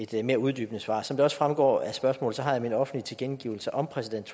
give et mere uddybende svar som det også fremgår af spørgsmålet har jeg i min offentlige tilkendegivelse om præsident